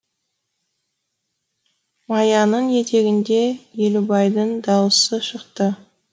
маяның етегінде елубайдың даусы шықты